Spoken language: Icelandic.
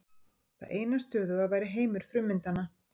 Það eina stöðuga væri heimur frummyndanna.